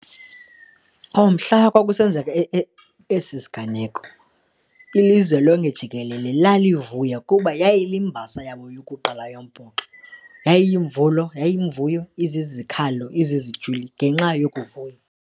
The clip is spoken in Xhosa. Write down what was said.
Oh, mhla kwakusenzeka esisiganeko ilizwe lonke jikelele lalivuya kuba yayiyimbasa yabo yokuqala yombhoxo, yayiyinvuyo, izizikhalo, izizijwili ngenxa yokuvuya.